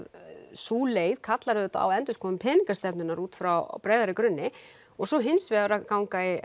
sú leið kallar auðvitað á endurskoðun peningastefnunnar útfrá breiðari grunni og svo hins vegar ganga í